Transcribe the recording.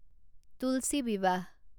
Tulsi Vivah